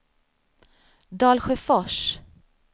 Dalsjöfors